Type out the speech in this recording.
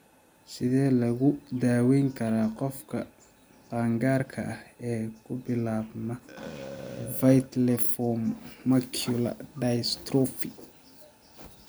Sidee lagu daweyn karaa qofka qaangaarka ah ee ku bilaabma viteliform macular dystrophy?